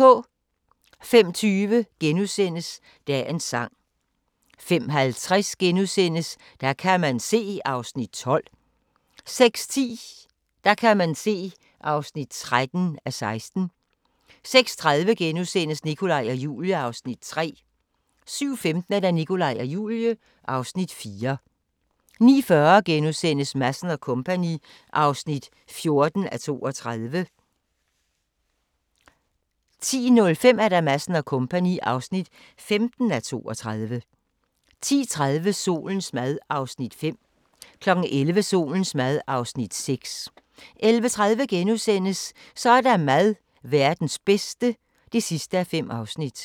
05:20: Dagens sang * 05:50: Der kan man se (12:16)* 06:10: Der kan man se (13:16) 06:30: Nikolaj og Julie (Afs. 3)* 07:15: Nikolaj og Julie (Afs. 4) 09:40: Madsen & Co. (14:32)* 10:05: Madsen & Co. (15:32) 10:30: Solens mad (5:6) 11:00: Solens mad (6:6) 11:30: Så er der mad – Verdens bedste (5:5)*